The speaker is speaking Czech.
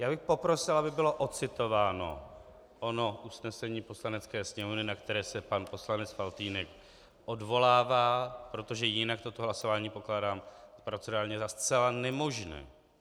Já bych poprosil, aby bylo odcitováno ono usnesení Poslanecké sněmovny, na které se pan poslanec Faltýnek odvolává, protože jinak toto hlasování pokládám procedurálně za zcela nemožné.